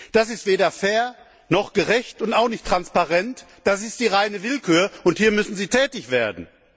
Das ist weder fair, noch gerecht und auch nicht transparent das ist die reine Willkür, und hier müssen Sie tätig werden!